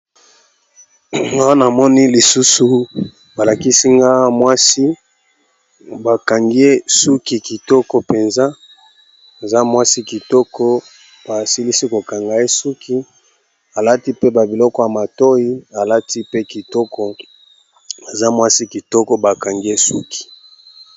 Awa namoni lisusu balakisi nga mwasi bakangie suki kitoko mpenza za mwasi kitoko basilisi kokanga e suki alati pe babiloko ya matoi aza mwasi kitoko bakangie suki